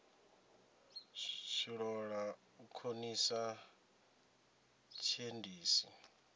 tshi ṱoḓa u khonisa tshiendisi